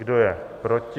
Kdo je proti?